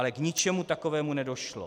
Ale k ničemu takovému nedošlo.